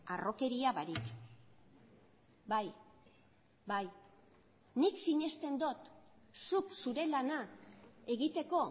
harrokeria barik bai bai nik sinesten dut zuk zure lana egiteko